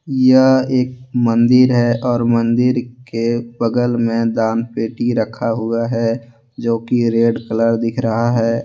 यह एक मंदिर है और मंदिर के बगल में दानपेटी रखा हुआ है जो कि रेड कलर दिख रहा है।